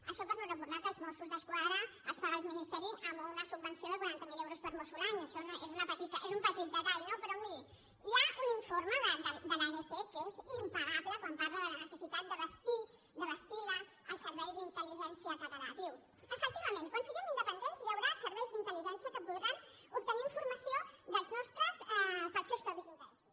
això per no recordar que als mossos d’esquadra els paga el ministeri amb una subvenció de quaranta miler euros per mosso l’any això és un petit detall no però miri hi ha un informe de l’anc que és impagable quan parla de la necessitat de bastir el servei d’intelsiguem independents hi haurà serveis d’intelque podran obtenir informació dels nostres per als seus propis interessos